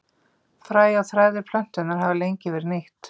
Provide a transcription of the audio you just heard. Fræ og þræðir plöntunnar hafa lengi verið nýtt.